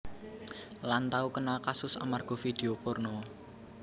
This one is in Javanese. Lan tau kena kasus amarga vidio porno